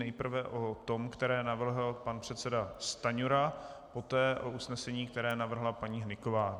Nejprve o tom, které navrhl pan předseda Stanjura, poté o usnesení, které navrhla paní Hnyková.